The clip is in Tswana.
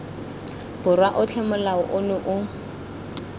borwa otlhe molao ono o